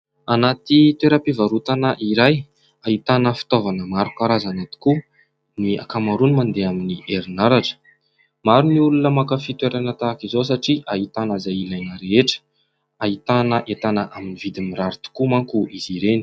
Anaty toeram-pivarotana iray. Ahitana fitaovana maro karazana tokoa, ny ankamaroany mandeha amin'ny herinaratra. Maro ny olona mankafy toerana tahaka izao satria ahitana izay ilaina rehetra. Ahitana entana amin'ny vidiny mirary tokoa mantsy izy ireny.